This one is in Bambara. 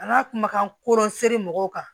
An ka kumakan koro seri mɔgɔw kan